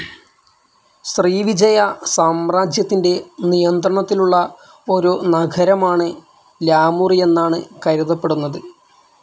ശ്രീവിജയ സാമ്രാജ്യത്തിന്റെ നിയന്ത്രണത്തിലുള്ള ഒരു നഗരമാണ് ലാമുറി എന്നാണ് കരുതപ്പെടുന്നത്.